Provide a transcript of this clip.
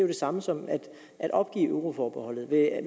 det samme som at opgive euroforbeholdet vil